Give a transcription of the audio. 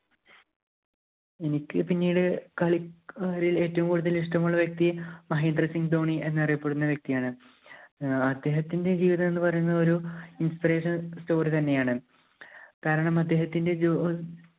എനിക്ക് പിന്നീടു കളിക്കാരില്‍ ഏറ്റവും കൂടുതല്‍ ഇഷ്ടമുള്ള വ്യക്തി മഹേന്ദ്ര സിംഗ് ധോണി എന്നറിയപ്പെടുന്ന വ്യക്തി ആണ്. ഏർ അദ്ദേഹത്തിന്‍റെ ജീവിതം എന്ന് പറയുന്നത് ഒരു inspiration story തന്നെയാണ്. കാരണം അദ്ദേഹത്തിന്‍റെ ജോ~